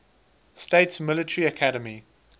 states military academy